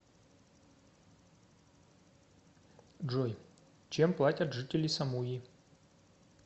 джой чем платят жители самуи